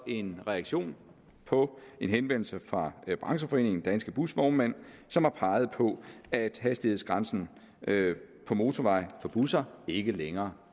en reaktion på en henvendelse fra brancheforeningen danske busvognmænd som har peget på at hastighedsgrænsen på motorveje for busser ikke længere